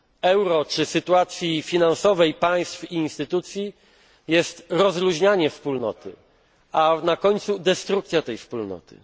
euro czy sytuacji finansowej państw i instytucji jest rozluźnianie Wspólnoty, a na końcu destrukcja tej Wspólnoty.